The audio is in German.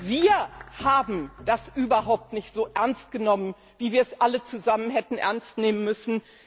Wir haben das überhaupt nicht so ernst genommen, wie wir es alle zusammen hätten ernst nehmen müssen.